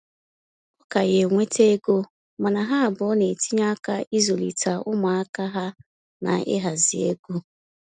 Ọ ka ya enweta ego, mana ha abụọ na-etinye aka izulita umuaka ha na ịhazi ego